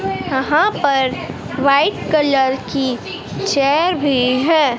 यहां पर white colour की चेयर भी है।